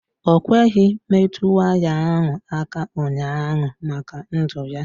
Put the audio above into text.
Ọ kweghị metụ waya ahụ aka ụnyaahụ maka ndụ ya.